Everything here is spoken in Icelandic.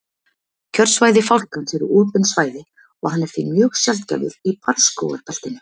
kjörsvæði fálkans eru opin svæði og hann er því mjög sjaldgæfur í barrskógabeltinu